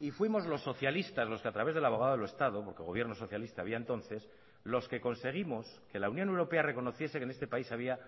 y fuimos los socialistas los que a través del abogado del estado porque el gobierno socialista había entonces los que conseguimos que la unión europea reconociese que en este país había